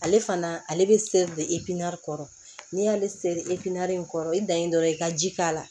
Ale fana ale bɛ seri de kɔrɔ n'i y'ale seri in kɔrɔ i dan ye dɔrɔn i ka ji k'a la